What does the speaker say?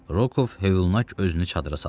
Rokov hövlnak özünü çadıra saldı.